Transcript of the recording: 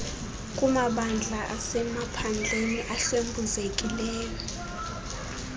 kumabandla asemaphandleni ahlwempuzekileyo